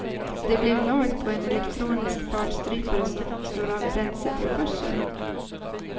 Det blev lag på en elektronisk fartstrypare som slår av bränsletillförseln.